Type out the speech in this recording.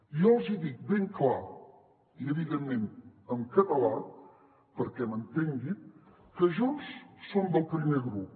jo els hi dic ben clar i evidentment en català perquè m’entenguin que junts som del primer grup